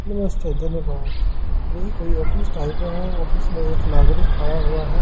नमस्ते धन्यवाद ये कोई ऑफिस टाइप है ऑफिस में एक नागरिक खड़ा हुआ है।